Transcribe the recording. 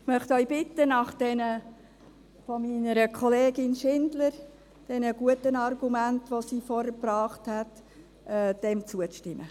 Ich möchte Sie bitten, nach den guten Argumenten, die die Kollegin Schindler eingebracht hat, dieser Planungserklärung zuzustimmen.